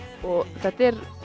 og þetta er